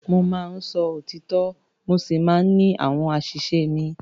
Mo máa ń sọ òtítọ́ mo sì máa ń ní àwọn àṣìṣe mi.